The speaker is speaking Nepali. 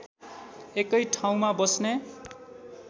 एकै ठाउँमा बस्ने